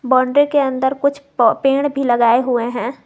Boundary के अंदर कुछ पेड़ भी लगाए हुए हैं।